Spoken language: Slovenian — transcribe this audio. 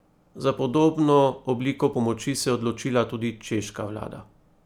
Za podobno obliko pomoči se je odločila tudi češka vlada.